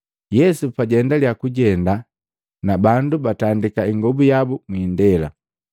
Yesu pajaendalya kujenda, na bandu batandika ingobu yabu mwiindela.